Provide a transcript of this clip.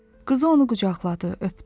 Qızı onu qucaqladı, öpdü.